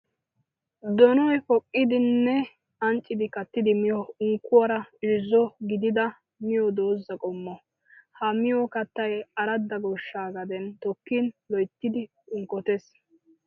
Donoy poqqiddinne ancciddi kattiddi miyo unkkuwara irzzo gididda miyo doozza qommo. Ha miyo kattay aradda goshsha gaden tokkin loyttiddi unkkotees.